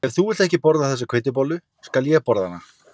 Ef þú vilt ekki þessa hveitibollu skal ég borða hana